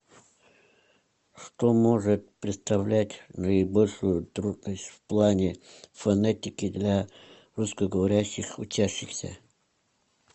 что может представлять наибольшую трудность в плане фонетики для русскоговорящих учащихся